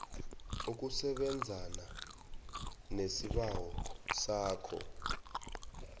ukusebenzana nesibawo sakho